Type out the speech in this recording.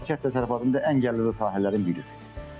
Kənd təsərrüfatının ən gəlirli sahələrindən biridir.